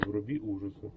вруби ужасы